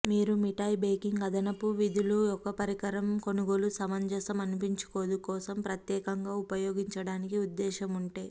మీరు మిఠాయి బేకింగ్ అదనపు విధులు ఒక పరికరం కొనుగోలు సమంజసం అనిపించుకోదు కోసం ప్రత్యేకంగా ఉపయోగించడానికి ఉద్దేశ్యము ఉంటే